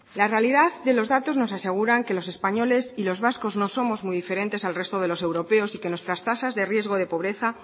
la realidad de los datos nos aseguran que los españoles y los vascos no somos muy diferentes al resto de los europeos y que nuestras tasas de riesgo de pobreza